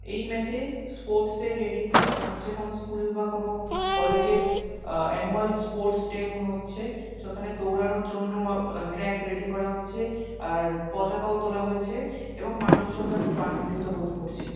এই ম্যাচ এ স্পোর্টস এর রেডি হচ্ছে কোনো স্কুল বা কোনো কলেজ এর আ- অ্যানুয়াল স্পোর্টস ডে মনে হচ্ছে সেখানে দৌড়ানোর জন্য ট্র্যাক রেডি করা হচ্ছে আর পতাকাও তোলা হয়েছে এবং মানুষ জনরা খুব আনন্দিত বোধ করছে।